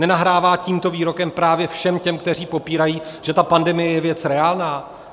Nenahrává tímto výrokem právě všem těm, kteří popírají, že ta pandemie je věc reálná?